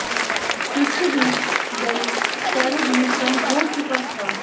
इस बीच जल स्तर भी कम हो चुका था